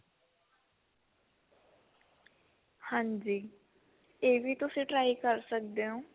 ਹਾਂਜੀ ਇਹ ਵੀ ਤੁਸੀਂ try ਕਰ ਸਕਦੇ ਹੋ